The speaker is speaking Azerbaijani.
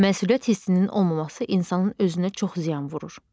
Məsuliyyət hissinin olmaması insanın özünə çox ziyan vurur.